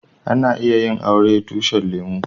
Ana iya yin auren tushin lemu.